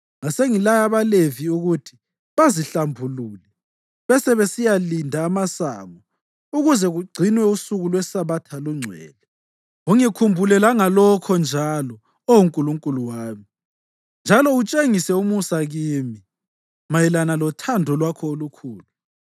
Ngasengilaya abaLevi ukuthi bazihlambulule besebesiyalinda amasango ukuze kugcinwe usuku lweSabatha lungcwele. Ungikhumbule langalokhu njalo, Oh Nkulunkulu wami, njalo utshengise umusa kimi mayelana lothando lwakho olukhulu.